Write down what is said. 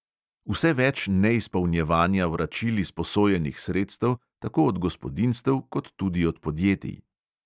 Vse več je neizpolnjevanja vračil izposojenih sredstev tako od gospodinjstev kot tudi od podjetij.